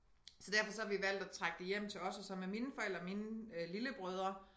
Så derfor så har vi valgt at trække det hjem til os og så med mine forældre mine øh lillebrødre